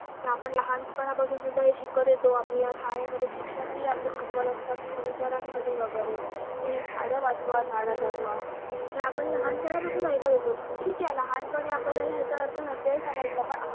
आपण लहानपनापासून सुद्धा हे शिकत येतो आपल्याला शाळेमध्ये शिक्षकही आपले शिकवत असतात सुविचारांमध्ये वगरे कि झाडं वाचवा झाडं जगवा. हे आपण लहानपणापासून ऐकत येतो ठीक आहे लहानपणापासून आपल्याला याचा अर्थ नसेल समजला पण